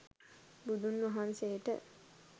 බුදුන් වහන්සේට